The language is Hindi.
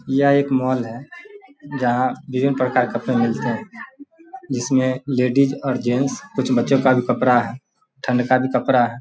यह एक मॉल है जहां विभिन्न प्रकार के कपड़ा मिलता है जिसमे लेडीज और जेंट्स कुछ बच्चो का भी कपड़ा है ठंड का भी कपड़ा है।